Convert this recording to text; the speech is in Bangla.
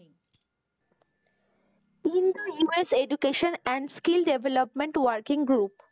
Indo US education and skill development working group,